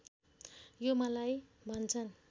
यो मलाई भन्छन्